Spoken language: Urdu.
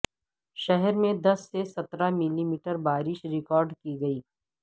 شہر میں دس سے سترہ ملی میٹر بارش ریکارڈ کی گئی